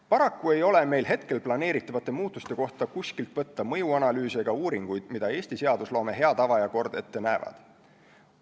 Paraku ei ole meil hetkel planeeritavate muutuste kohta kuskilt võtta mõjuanalüüse ega uuringuid, mida Eesti seadusloome hea tava ja kord ette näevad.